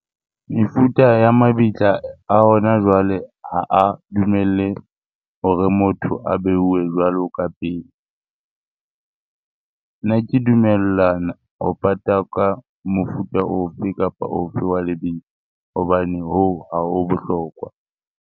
Mefuta ya mabitla a hona jwale ha a dumelle hore motho a beuwe jwalo ka pele. Nna ke dumellana ho pata ka mofuta ofe kapa ofe wa lebitla hobane hoo ha ho bohlokwa.